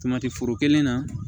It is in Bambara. Tomati foro kelen na